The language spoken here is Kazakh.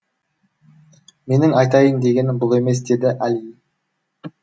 менің айтайын дегенім бұл емес деді әли